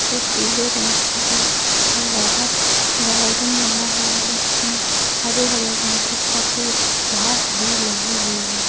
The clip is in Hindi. जो पीले रंग की है और बाहर गार्डन बना हुआ है जिसमें हरे-हरे रंग की काफी घास भी लगी हुई है।